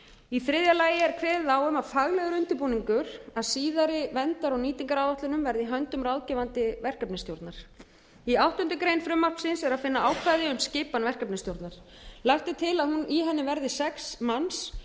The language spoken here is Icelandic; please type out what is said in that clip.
í þriðja lagi er kveðið á um að faglegur undirbúningur að síðari verndar og nýtingaráætlunum verði í höndum ráðgefandi verkefnisstjórnar í áttundu greinar frumvarpsins er að finna ákvæði um skipan verkefnisstjórnar lagt er til að í henni verði sex manns